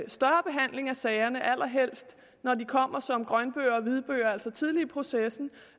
sagerne allerhelst når de kommer som grønbøger og hvidbøger altså tidligt i processen